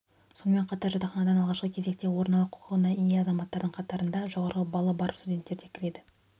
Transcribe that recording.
сонымен қатар жатақханадан алғашқы кезекте орын алу құқығына ие азаматтардың қатарында жоғары баллы бар студенттер де кіреді